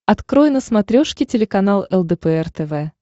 открой на смотрешке телеканал лдпр тв